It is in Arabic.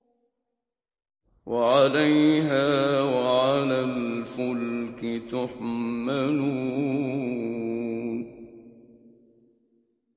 وَعَلَيْهَا وَعَلَى الْفُلْكِ تُحْمَلُونَ